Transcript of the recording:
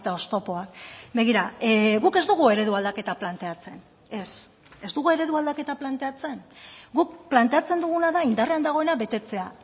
oztopoak begira guk ez dugu eredu aldaketa planteatzen ez ez dugu eredu aldaketa planteatzen guk planteatzen duguna da indarrean dagoena betetzea